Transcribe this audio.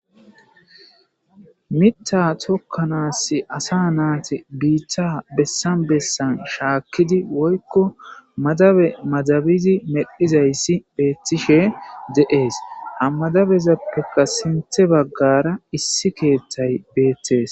mitta tokkanaassi asa naate biitta bessan bessan shaakkidi woykko madabe madabizi medhizayssi beettishe de7ees ammadabezappekka sinthe baggara issi keeththay beettees